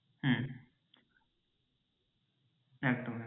হ্যাঁ একদম একদম।